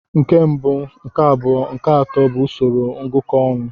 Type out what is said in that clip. Nke mbụ, nke abụọ nke atọ bụ usoro ngụkọ ọnụ.